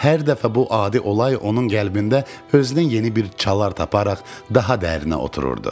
Hər dəfə bu adi olay onun qəlbində özünə yeni bir çalar taparaq daha dərinə otururdu.